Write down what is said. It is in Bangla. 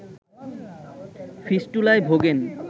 ফিস্টুলায় ভোগেন